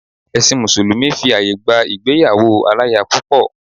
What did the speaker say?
Ẹ̀sìn mùsùlùmí fi àyè gba ìgbéyàwó aláya púpọ̀.